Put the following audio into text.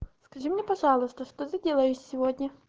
скажи мне пожалуйста что ты делаешь сегодня